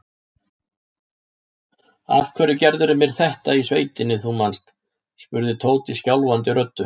Af hverju gerðirðu mér þetta í sveitinni, þú manst? spurði Tóti skjálfandi röddu.